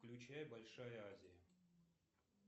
включай большая азия